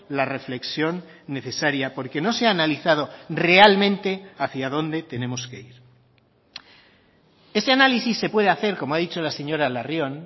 la reflexión necesaria porque no se ha analizado realmente hacia dónde tenemos que ir ese análisis se puede hacer como ha dicho la señora larrión